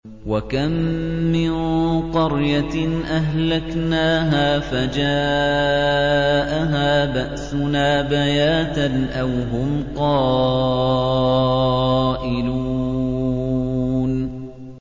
وَكَم مِّن قَرْيَةٍ أَهْلَكْنَاهَا فَجَاءَهَا بَأْسُنَا بَيَاتًا أَوْ هُمْ قَائِلُونَ